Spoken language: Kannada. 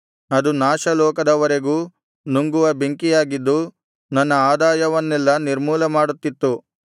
ಅದು ನಾಶ ಲೋಕದವರೆಗೂ ನುಂಗುವ ಬೆಂಕಿಯಾಗಿದ್ದು ನನ್ನ ಆದಾಯವನ್ನೆಲ್ಲಾ ನಿರ್ಮೂಲಮಾಡುತ್ತಿತ್ತು